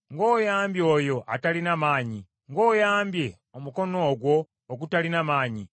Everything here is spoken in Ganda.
“Ng’oyambye oyo atalina maanyi! Ng’oyambye omukono ogwo ogutalina maanyi!